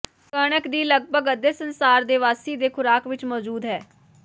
ਕਣਕ ਦੀ ਲਗਭਗ ਅੱਧੇ ਸੰਸਾਰ ਦੇ ਵਾਸੀ ਦੇ ਖੁਰਾਕ ਵਿੱਚ ਮੌਜੂਦ ਹੈ